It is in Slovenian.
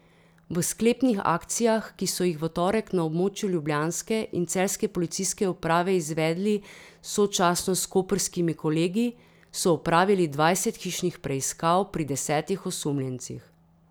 V sklepnih akcijah, ki so jih v torek na območju ljubljanske in celjske policijske uprave izvedli sočasno s koprskimi kolegi, so opravili dvajset hišnih preiskav pri desetih osumljencih.